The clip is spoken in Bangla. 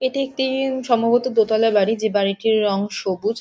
এটি একটি সম্ভবত দোতলা বাড়ি যে বাড়িটির রং সুবজ।